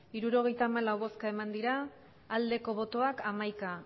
hirurogeita hamalau bai hamaika